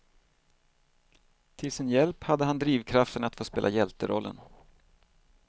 Till sin hjälp hade han drivkraften att få spela hjälterollen.